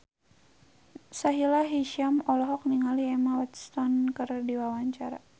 Sahila Hisyam olohok ningali Emma Watson keur diwawancara